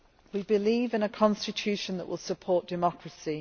We believe in a constitution that will support democracy.